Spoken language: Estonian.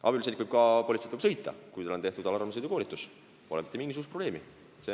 Abipolitseinik võib ka politseiautot juhtida, kui tal on tehtud alarmsõidukoolitus, pole mitte mingisugust probleemi.